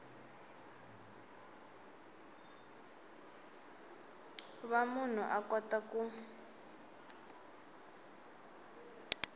va munhu a kota ku